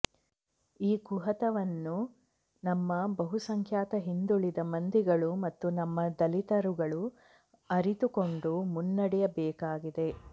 ಈ ಕುಹತನವನ್ನು ನಮ್ಮ ಬಹುಸಂಖ್ಯಾತ ಹಿಂದುಳಿದ ಮಂದಿಗಳು ಮತ್ತು ನಮ್ಮ ದಲಿತರುಗಳು ಅರಿತುಕೊಂಡು ಮುನ್ನಡೆಯಬೇಕಾಗಿದೆ